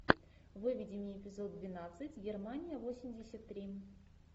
выведи мне эпизод двенадцать германия восемьдесят три